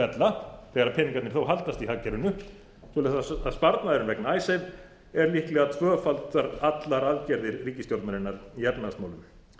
ella þegar peningarnir þó haldast í hagkerfinu svo að sparnaðurinn vegna icesave er líklega tvöfaldar allar aðgerðir ríkisstjórnarinnar í efnahagsmálum